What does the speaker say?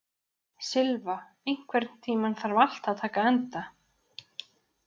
Silfa, einhvern tímann þarf allt að taka enda.